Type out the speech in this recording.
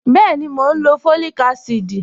Bẹẹni, mọ̀ n lọ fọ́líìkà àsídì